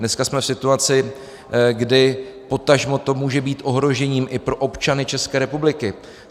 Dneska jsme v situaci, kdy potažmo to může být ohrožením i pro občany České republiky.